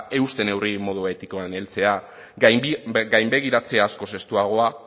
euste neurriei modu etikoan heltzea gainbegiratze askoz estuagoak